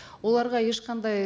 оларға ешқандай